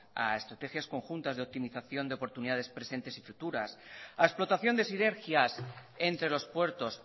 a estrategias conjuntas de optimización de oportunidades presentes o futuras a explotación de sinergias entre los puertos